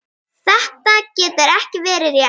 Þetta getur ekki verið rétt.